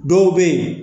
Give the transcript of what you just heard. Dɔw bɛ yen